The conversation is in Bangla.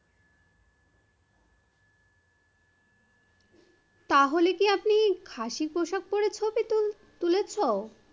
তাহলে কি আপনি খাসি পোশাক পরে ছবি তুলেছ?